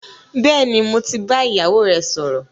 Bẹ́ẹ̀ni, mo ti bá ìyàwó ẹ sọ̀rọ̀